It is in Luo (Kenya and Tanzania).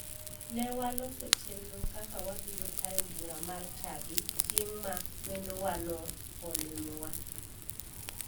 Ne waloso chenro kaka wabiro tayo bura mar chadi chieng ma wendowano olimowa.